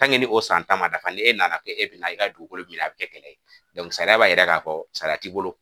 o san ta ma dafa ni e nana kɛ e bɛna i ka dugukolo minɛ a bi kɛ kɛlɛ ye sariya b'a yira k'a fɔ salati bolo